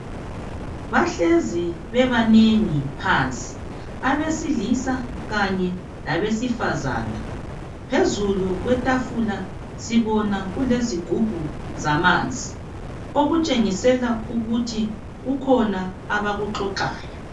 Bahlezi bebanengi phansi, abesilisa kanye labesifazana. Phezulu kwetafula sibona kulezigubhu zamanzi. Okutshengisa ukuthi kukhona abakuxoxayo.